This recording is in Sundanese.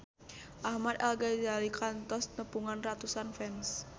Ahmad Al-Ghazali kantos nepungan ratusan fans